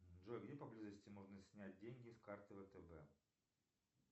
джой где поблизости можно снять деньги с карты втб